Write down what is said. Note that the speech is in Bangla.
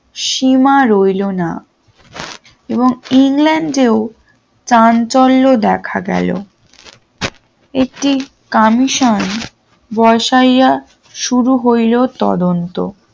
সীমা রইল না এবং ইংল্যান্ড এ চান চললো দেখা গেলো এটি কমিশন বসাইয়া শুরু হইল তদন্ত।